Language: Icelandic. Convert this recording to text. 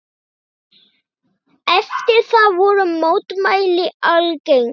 Eftir það voru mótmæli algeng.